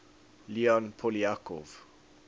leon poliakov